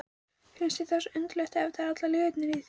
Finnst þér það svo undarlegt eftir allar lygarnar í þér?